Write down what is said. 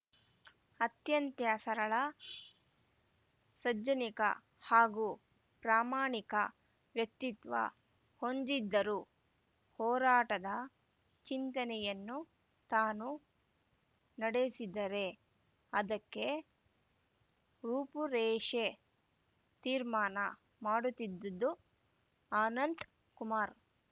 ಅತ್ಯಂತ ಸರಳ ಸಜ್ಜನಿಕೆ ಹಾಗೂ ಪ್ರಾಮಾಣಿಕ ವ್ಯಕ್ತಿತ್ವ ಹೊಂದಿದ್ದರು ಹೋರಾಟದ ಚಿಂತನೆಯನ್ನು ತಾನು ನಡೆಸಿದರೆ ಅದಕ್ಕೆ ರೂಪುರೇಷೆ ತೀರ್ಮಾನ ಮಾಡುತ್ತಿದ್ದದು ಆನಂತ್‌ ಕುಮಾರ್‌